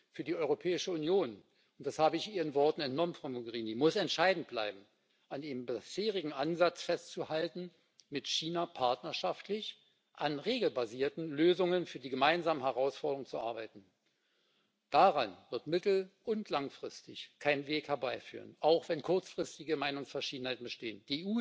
Für die Europäische Union und das habe ich Ihren Worten entnommen, Frau Mogherini muss entscheidend bleiben, an dem bisherigen Ansatz festzuhalten, mit China partnerschaftlich an regelbasierten Lösungen für die gemeinsamen Herausforderungen zu arbeiten. Daran wird mittel und langfristig kein Weg vorbeiführen, auch wenn kurzfristige Meinungsverschiedenheiten bestehen.